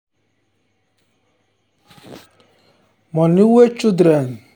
money wey children wey children dey keep for saving box na their first way to learn how to manage money.